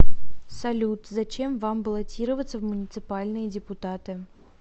салют зачем вам баллотироваться в муниципальные депутаты